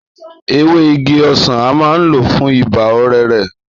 Èwè ìgí òsé a maà ń lò fùn Ìbà ọ̀rẹrẹ